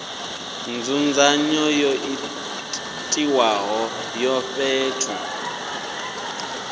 nzudzanyo yo itiwaho ya fhethu